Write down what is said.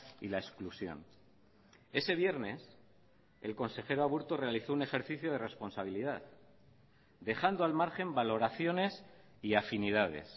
y la exclusión ese viernes el consejero aburto realizó un ejercicio de responsabilidad dejando al margen valoraciones y afinidades